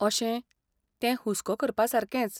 अशें, तें हुस्को करपासारकेंच.